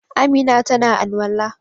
Amina ta na al'walla.